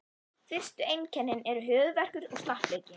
Fyrstu einkennin eru höfuðverkur og slappleiki.